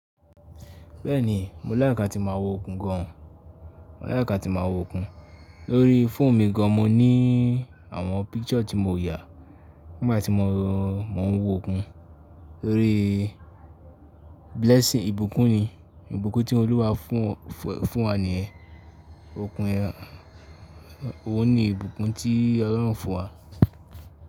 Bẹ́ẹ̀ ni, mo like atí màá wo okùn gan o. Mo like atí màá wo okùn. Lórí phone mi gan, mo ní àwọn picture tí mo yà nígbà tí mo n wo okùn. Tórí blessing, ìbùkún ni, ìbùkún tí Olúwa fún, fún wa ni yẹ́n, okùn yẹ́n, oun ní ìbùkún tí Ọlọ́run fún wa.